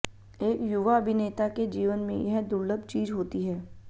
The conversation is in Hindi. एक युवा अभिनेता के जीवन में यह दुर्लभ चीज होती है